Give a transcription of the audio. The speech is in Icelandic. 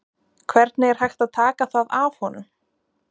Hvernig er hægt að taka það af honum?